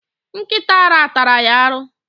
Nkita ara tara ya aru.